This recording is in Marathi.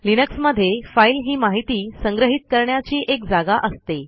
लिनक्समध्ये फाईल ही माहिती संग्रहित करण्याची एक जागा असते